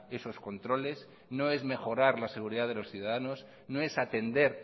esos controles no es mejorar la seguridad de los ciudadanos no es atender